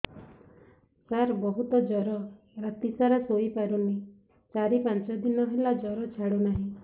ସାର ବହୁତ ଜର ରାତି ସାରା ଶୋଇପାରୁନି ଚାରି ପାଞ୍ଚ ଦିନ ହେଲା ଜର ଛାଡ଼ୁ ନାହିଁ